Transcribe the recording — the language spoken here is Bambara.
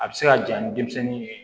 A bɛ se ka ja ni denmisɛnnin ye